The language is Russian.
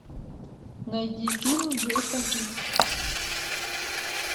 найди фильм джейсон икс